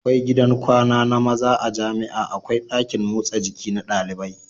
Akwai gidan kwana na maza a jamia akwai dakin motsa jiki na ɗalibai